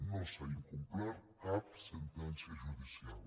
no s’ha incomplert cap sentència judicial